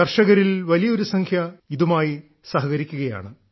കർഷകരിൽ വലിയൊരു സംഖ്യ ഇതുമായി സഹകരിക്കുകയാണ്